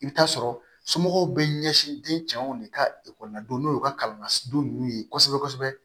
I bɛ taa sɔrɔ somɔgɔw bɛ ɲɛsin den cɛw de ka ekɔli la don n'o ye u ka kalansen ninnu ye kosɛbɛ kosɛbɛ